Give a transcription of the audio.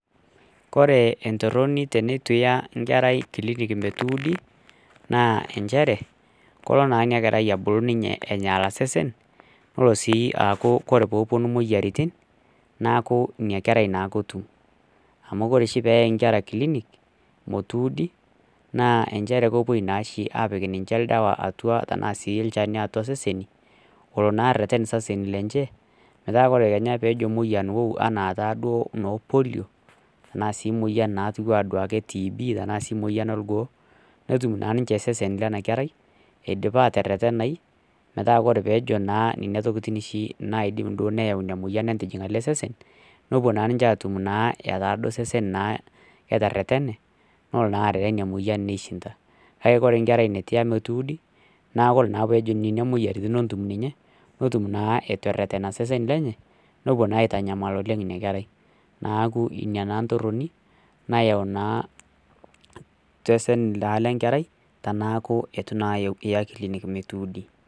Kore entoroni teneitu iya enkerai klinik metuudi naa inchere kolo ninye inakerai abulu enyaala sesen naa ore sii tenepuonu imoyiaritin neeku inakerai naake etum amu ore oshi teneyai enkerai clinic metuudi naa inchere kepuo naa oshi aapik olchani atua seseni olo naa areren iseseni lenche metaa kenya ore peejo moyian ou enaa taaduo polio enaataaduo moyian naijio ake tb enaa sii moyian orgoo netum naa ninche iseseni lena kerao eidipa atererenayu metaa ore peejo naa nenatokitin duo neeyau ina moyian ajil ele sesen nepuo naa ninche aatum naa etaa naaduo sesen naa ketererene neelo naa arere emoyian neishinda kake ore nkerai neitu ita metuudi naa kore naa peejo nena moyiaritin atum ninye netum naa eitu ererna sesen lenye nepuo naa aitanyamal oleng ina kerai neeku ina naa ntoroni nayau naa sesen lenkerai tenaaku eitu naa eya klinik metuudi